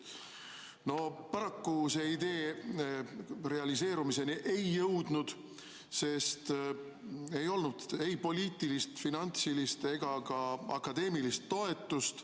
No paraku see idee realiseerumiseni ei jõudnud, sest ei olnud ei poliitilist, finantsilist ega ka akadeemilist toetust.